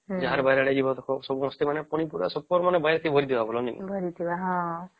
ଯାହାର ବାରି ଆଡେ ଯିବା ସମସ୍ତେ ପନି ପରିବା ପୁରା ବାରି କେ ଭରିଥିବା ନାଇଁ କି